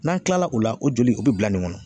N'an kilala o la o joli o bi bila nin kɔnɔ.